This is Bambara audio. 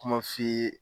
Kuma f'i ye